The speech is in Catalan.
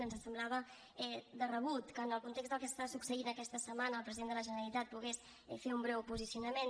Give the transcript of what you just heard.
ens semblava de rebut que en el context del que està succeint aquesta setmana el president de la generalitat pogués fer un breu posicionament